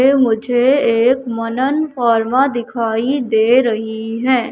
ये मुझे एक मनन फार्मा दिखाई दे रही है।